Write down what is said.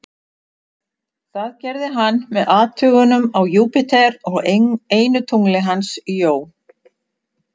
Það gerði hann með athugunum á Júpíter og einu tungli hans, Jó.